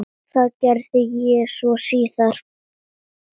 Það gerði ég svo síðar.